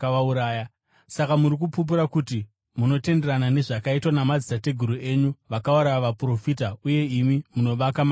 Saka muri kupupura kuti munotenderana nezvakaitwa namadzitateguru enyu; vakauraya vaprofita uye imi munovaka marinda avo.